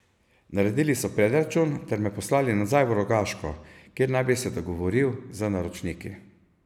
Naredili so predračun ter me poslali nazaj v Rogaško, kjer naj bi se dogovoril z naročniki.